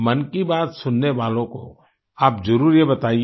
मन की बात सुनने वालों को आप जरुर ये बताइए